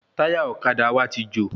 Táyà ọ̀kadà wa ti jò